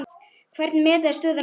Hvernig meta þeir stöðuna núna?